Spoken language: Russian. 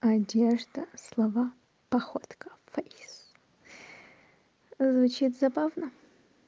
одежда слова походка фэйс звучит забавно